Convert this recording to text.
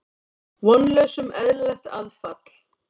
Vonlaus um eðlilegt aðfall.